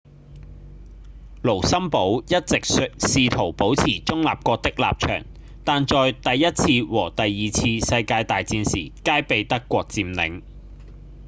盧森堡一直試圖保持中立國的立場但在第一次和第二次世界大戰時皆被德國佔領